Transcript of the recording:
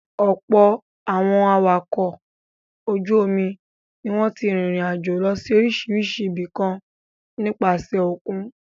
Ọ̀pọ̀ àwọn awakọ̀ ojú-omi ni wọ́n ti rìnrìn-àjò lọ sí oríṣiríṣi ibìkan nípasẹ̀ òkun.